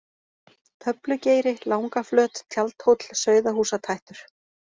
Töflugeiri, Langaflöt, Tjaldhóll, Sauðahúsatættur